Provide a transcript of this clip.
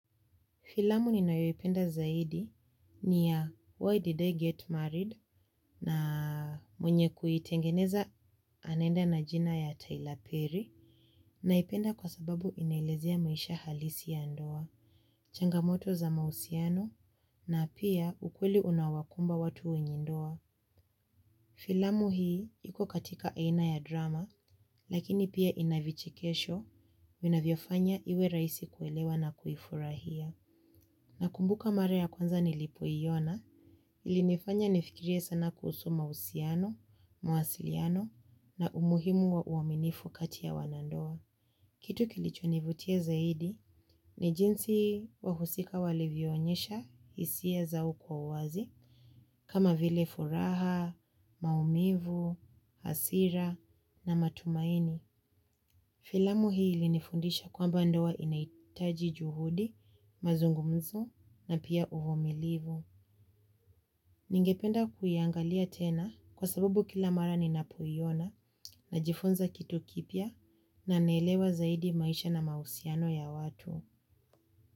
Filamu ni mnayoipenda zaidi ni ya Why Did I Get Married na mwenye kuitengeneza anenda na jina ya Tyler Perry naipenda kwa sababu inaelezea maisha halisi ya ndoa, changamoto za mausiano na pia ukweli unaowakumba watu wenye ndoa. Filamu hii iko katika aina ya drama lakini pia ina vichikesho vinavyofanya iwe rahisi kuelewa na kuifurahia. Nakumbuka mara ya kwanza nilipoiona ilinifanya nifikirie sana kusu mausiano, muwasiliano na umuhimu wa uaminifu kati ya wanandoa. Kitu kilichonivutia zaidi ni jinsi wahusika walivioonyesha hisia zao kwa uwazi kama vile furaha, maumivu, hasira na matumaini. Filamu hii ilinifundisha kwamba ndoa inaitaji juhudi, mazungumzo na pia uvumilivu. Ningependa kuiangalia tena kwa sababu kila mara ninapoiona najifunza kitu kipya na naelewa zaidi maisha na mausiano ya watu.